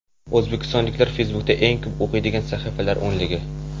O‘zbekistonliklar Facebook’da eng ko‘p o‘qiydigan sahifalar o‘nligi.